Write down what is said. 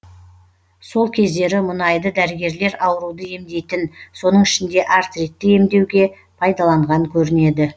сол кездері мұнайды дәрігерлер ауруды емдейтін соның ішінде артритті емдеуге пайдаланған көрінеді